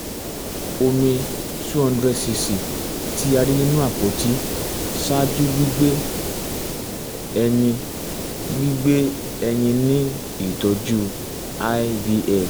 omi two hundred um cc ti a rí nínú apoti um ṣáájú gbigbe ẹyin gbigbe ẹyin ni um itọju ivf